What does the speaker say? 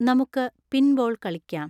നമുക്ക് പിൻബോൾ കളിക്കാം